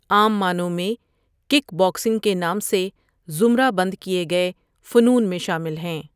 عام معنوں میں کِک باکسنگ کے نام سے زمرہ بند کیے گئے فنون میں شامل ہیں.